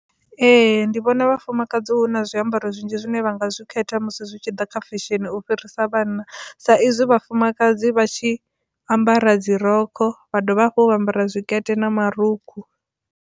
Ee, ndi vhona vhafumakadzi hu na zwiambaro zwinzhi zwine vha nga zwi khetha musi zwi tshi ḓa kha fesheni u fhirisa vhanna sa izwi vhafumakadzi vha tshi ambara dzi rogo vha dovha hafhu vha ambara tshikete na marukhu.